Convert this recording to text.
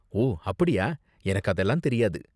ஓ, அப்படியா! எனக்கு அதெல்லாம் தெரியாது.